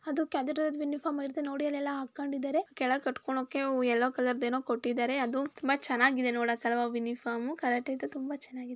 ಇದೊಂದು karate uniform ಇದ್ದಂಗಿದೆ ನೋಡಿ ಅಲ್ಲಿ ಕೆಳಗ್ ಕಟ್ಕೊಂಡಿದ್ದಾರೆ ಎಲ್ಲೋ ಕಲರ್ದೇನು ಕೊಟ್ಟಿದ್ದಾರೆ ತುಂಬಾ ನೋಡಕ್ ಚೆನ್ನಾಗಿದೆ ತುಂಬಾ ಚೆನ್ನಾಗಿದೆ.